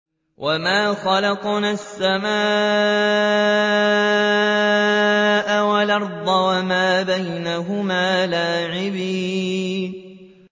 وَمَا خَلَقْنَا السَّمَاءَ وَالْأَرْضَ وَمَا بَيْنَهُمَا لَاعِبِينَ